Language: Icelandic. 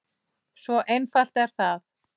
Svo einfalt er það!